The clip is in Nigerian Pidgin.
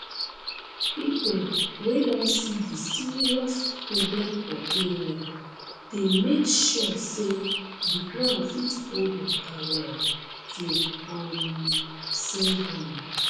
people wey don see di serious problem for area dey make sure say di ground fit hold water well to um save am